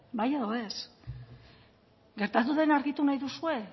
bai edo ez gertatu dena argitu nahi duzue